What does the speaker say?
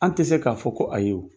An tɛ se k'a fɔ ko ayi o.